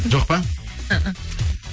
жоқ па